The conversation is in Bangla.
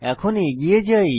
এখন এগিয়ে যাই